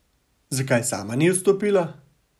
Zakaj sama ni odstopila?